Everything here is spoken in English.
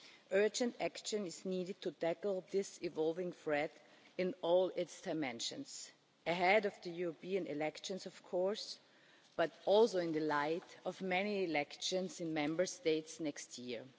Urgent action is needed to tackle this evolving threat in all its dimensions ahead of the European elections, of course, but also in the light of many elections in Member States next